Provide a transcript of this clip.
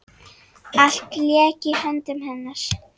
Allt lék í höndum hennar.